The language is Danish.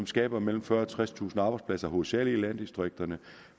skaber mellem fyrretusind og halvtredstusind arbejdspladser hovedsagelig i landdistrikterne